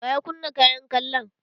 Waya kunna kayan kallon?